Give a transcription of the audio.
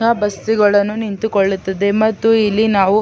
ಬಸ್ಸುಗಳುನ್ನು ನಿಂತುಕೊಳ್ಳುತ್ತದೆ ಮತ್ತು ಇಲ್ಲಿ ನಾವು --